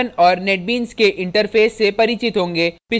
संस्थापन औऱ netbeans के interface से परिचित होंगे